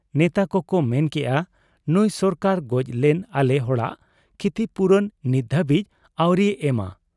ᱱᱮᱛᱟ ᱠᱚᱚᱠ ᱢᱮᱱ ᱠᱮᱜ ᱟ ᱱᱩᱸᱭ ᱥᱚᱨᱠᱟᱨ ᱜᱚᱡ ᱞᱮᱱ ᱟᱞᱮ ᱦᱚᱲᱟᱜ ᱠᱷᱤᱛᱤᱯᱩᱨᱚᱱ ᱱᱤᱛ ᱫᱷᱟᱹᱵᱤᱡ ᱟᱹᱣᱨᱤᱭ ᱮᱢᱟ ᱾